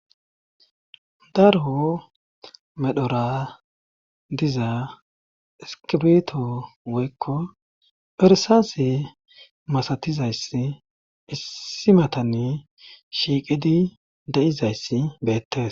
Daro medhora diza iskibito woykko perisaase masatizayss issimatanne shiiqidi de7izayssi beettes